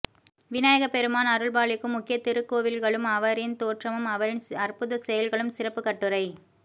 விநாயகப் பெருமான் அருள்பாலிக்கும் முக்கிய திருக்கோவில்களும் அவரின் தோற்றமும் அவரின் அற்புதச்செயல்களும் சிறப்புக்கட்டுரை